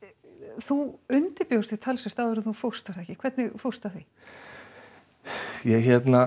þú undirbjóst þig talsvert áður en þú fórst var það ekki hvernig fórstu að því ég